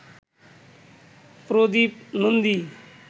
Pradip Nandi